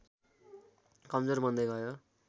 कमजोर बन्दै गयो